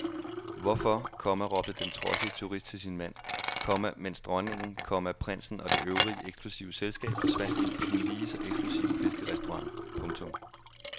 Hvorfor, komma råbte den trodsige turist til sin mand, komma mens dronningen, komma prinsen og det øvrige eksklusive selskab forsvandt ind på den lige så eksklusive fiskerestaurant. punktum